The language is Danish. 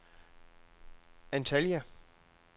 Antalya